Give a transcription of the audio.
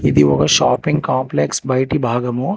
ఇది ఒక shopping complex బయటి భాగము.